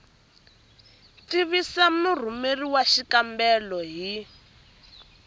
tivisa murhumeri wa xikombelo hi